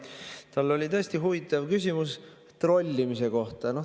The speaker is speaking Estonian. Tal oli tõesti huvitav küsimus trollimise kohta.